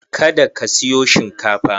Kada ka siyo shinkafa!